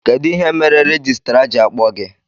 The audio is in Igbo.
Kedụ ihe mere rejistra ji akpọ gị?